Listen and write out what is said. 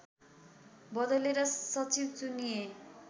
बदलेर सचिव चुनिए